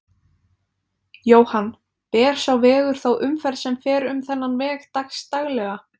Jóhann: Ber sá vegur þá umferð sem fer um þennan veg dags daglega?